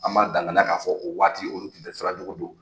An ma danganaya ka fɔ o waati olu kun te sira jugu don